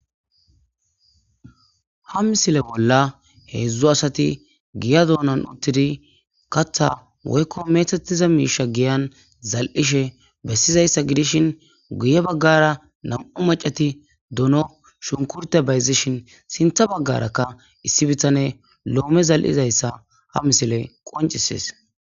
Ha misile bolla heedzdzu asati giya doonan uttidi katha woykko meethatiza miisha giyan zal'ishe bessizayssa gidishin guye baggara nam'u macati duno shunkurte bayzishin sintha baggarakka issi bitane loome zal'izayssa ha misile qoncisees